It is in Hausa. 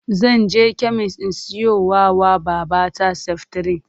Zan je kemis in siyowa wa babata seftirin.